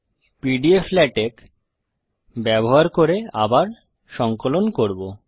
pdflatex ব্যবহার করে আবার সঙ্কলন করব